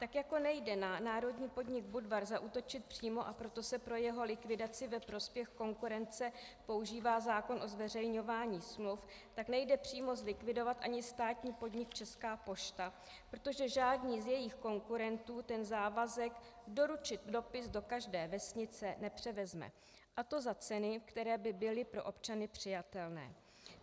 Tak jako nejde na národní podnik Budvar zaútočit přímo, a proto se pro jeho likvidaci ve prospěch konkurence používá zákon o zveřejňování smluv, tak nejde přímo zlikvidovat ani státní podnik Česká pošta, protože žádný z jejích konkurentů ten závazek doručit dopis do každé vesnice nepřevezme, a to za ceny, které by byly pro občany přijatelné.